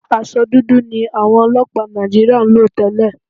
Aṣọ dúdú ni àwọn ọlọ́pàá Nàìjííríà ń lò tẹ́lẹ̀